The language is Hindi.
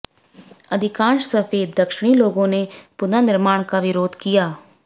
अधिकांश सफेद दक्षिणी लोगों ने पुनर्निर्माण का विरोध किया